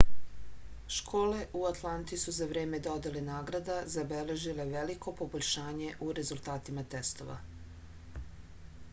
школе у ​​атланти су за време доделе награда забележиле велико побољшање у резултатима тестова